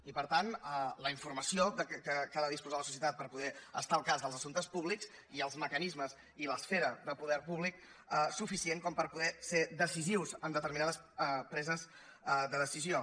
i per tant la informació que ha de disposar la societat per poder estar al cas dels assumptes públics i els mecanismes i l’esfera del poder públic suficient per poder ser decisius en determinades preses de decisió